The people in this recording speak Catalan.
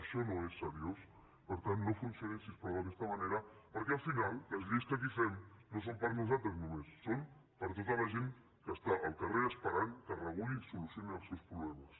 això no és seriós per tant no funcionin si us plau d’aquesta manera perquè al final les lleis que aquí fem no són per a nosaltres només són per a tota la gent que està al carrer esperant que es regulin i se solucionin els seus problemes